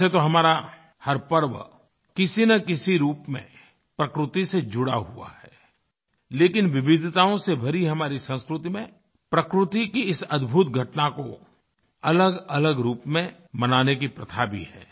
वैसे तो हमारा हर पर्व किसीनकिसी रूप में प्रकृति से जुड़ा हुआ है लेकिन विविधताओं से भरी हमारी संस्कृति मेंप्रकृति की इस अद्भुत घटना को अलगअलग रूप में मनाने की प्रथा भी है